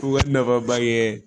U ka nafaba ye